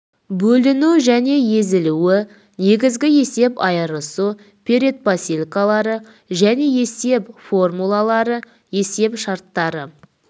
бөлінуі және езілуі негізгі есеп айырысу предпосылкалары және есеп формулалары есеп шарттары